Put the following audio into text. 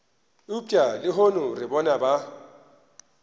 eupša lehono re bona ba